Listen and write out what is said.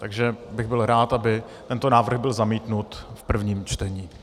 Takže bych byl rád, aby tento návrh byl zamítnut v prvním čtení.